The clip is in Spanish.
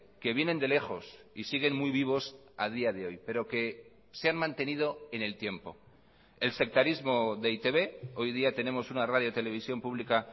que vienen de lejos y siguen muy vivos a día de hoy pero que se han mantenido en el tiempo el sectarismo de e i te be hoy día tenemos una radio televisión pública